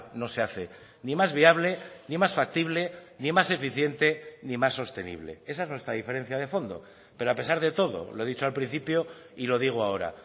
no se hace ni más viable ni más factible ni más eficiente ni más sostenible esa es nuestra diferencia de fondo pero a pesar de todo lo he dicho al principio y lo digo ahora